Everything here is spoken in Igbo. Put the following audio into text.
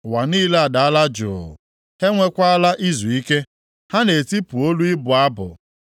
Ụwa niile adaala jụ, ha enwekwaala izuike, ha na-etipụ olu ịbụ abụ.